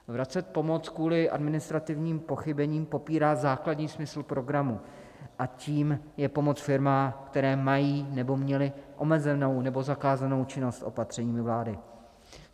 Vracet pomoc kvůli administrativním pochybením popírá základní smysl programu a tím je pomoc firmám, které mají nebo měly omezenou nebo zakázanou činnost opatřeními vlády.